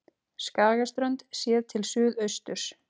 Skagaströnd séð til suðausturs.